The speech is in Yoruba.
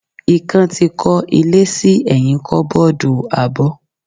Ikan ti kó ilé sí ẹyin koboodu abó.